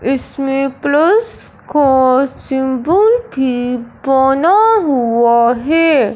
इसमें प्लस का सिंबल भी बना हुआ है।